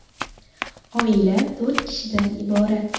Oila to‘rt kishidan iborat.